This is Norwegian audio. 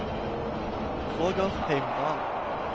Roger Heimdal